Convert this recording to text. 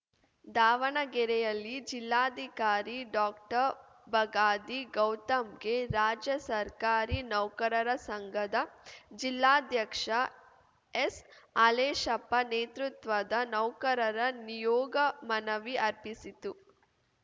ದಾವಣಗೆರೆಯಲ್ಲಿ ಜಿಲ್ಲಾಧಿಕಾರಿ ಡಾಕ್ಟರ್ಬಗಾದಿ ಗೌತಮ್‌ಗೆ ರಾಜ್ಯ ಸರ್ಕಾರಿ ನೌಕರರ ಸಂಘದ ಜಿಲ್ಲಾಧ್ಯಕ್ಷ ಎಸ್‌ಹಾಲೇಶಪ್ಪ ನೇತೃತ್ವದ ನೌಕರರ ನಿಯೋಗ ಮನವಿ ಅರ್ಪಿಸಿತು